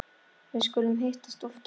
Við skulum hittast oftar